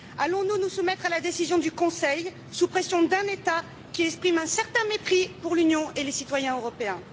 Allons nous nous soumettre à la décision du Conseil, sous pression d'un État, qui exprime un certain mépris pour l'Union et les citoyens européens?